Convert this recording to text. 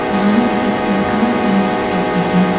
यहां एक लड़का चाय पकड़ के है।